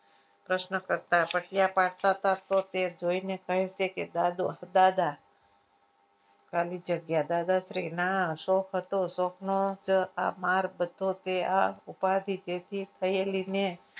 પ્રશ્ન કરતા તે જોઈને કહ્યું કે દાદો દાદા ખાલી જગ્યા દાદાશ્રીના શોખ હતો શોખનો આ માર બધો તે આ ઉપાધિ જેથી થયેલી ને